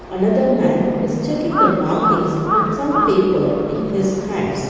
another man is checking the markings with some papers in his hands.